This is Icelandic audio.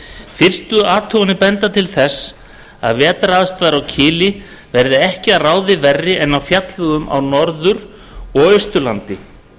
fyrstu athuganir benda til þess að vetraraðstæður á kili verði ekki að ráði verri en á fjallvegum á norður og austurlandi